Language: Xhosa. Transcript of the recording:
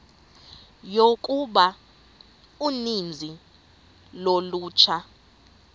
yokuba uninzi lolutsha